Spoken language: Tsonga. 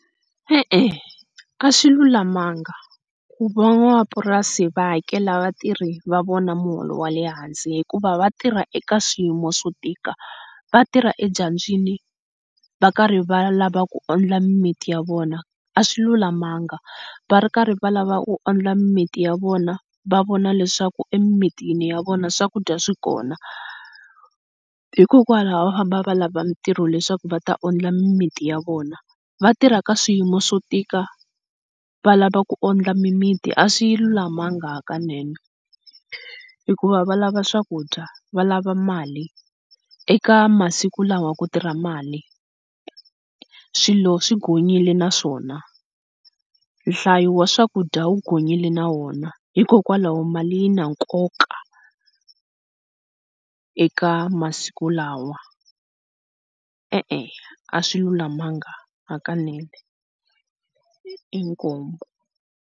E-e, a swi lulamanga ku va va n'wamapurasi va hakela vatirhi va vona miholo ya le hansi hikuva vatirhi eka swiyimo swo tika, vatirha edyambini, va karhi va lava ku wondla miminti ya vona a swi lulamanga va ri karhi va lava ku wondla miminti ya vona va vona leswaku emimitini ya vona swakudya swikona hikokwalaho va famba va lava mintirho leswaku va ta wondla miminti ya vona va tirhaka swiyimo swo tika va lava ku ondla mimiti, a swi lulamanga hakanene hikuva va lava swakudya. Va lava mali eka masiku lawa ku tirha mali swilo swi ghonyile naswona, nhlayo wa swakudya wu ghonyile na wona hikokwalaho mali yi na nkoka eka masiku lawa, e-e a swi lulamanga hakanene, inkomu.